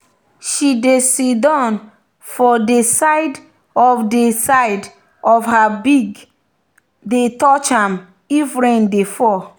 she dey siddon for de side of de side of her pig the touch am if rain dey fall.